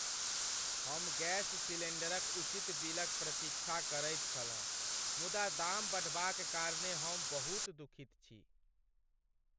हम गैस सिलेंडरक उचित बिलक प्रतीक्षा करैत छलहुँ, मुदा दाम बढ़बाक कारणेँ हम बहुत दुखित छी।